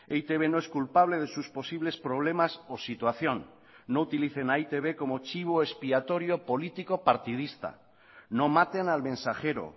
e i te be no es culpable de sus posibles problemas o situación no utilicen a e i te be como chivo expiatorio político partidista no maten al mensajero